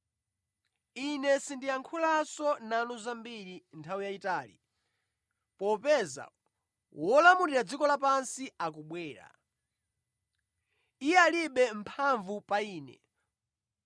Ine sindiyankhulanso nanu zambiri nthawi yayitali popeza wolamulira dziko lapansi akubwera. Iye alibe mphamvu pa Ine,